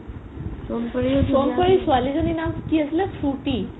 সোণপৰি ছোৱালি জনিৰ নাম কি আছিলে ফ্ৰূতি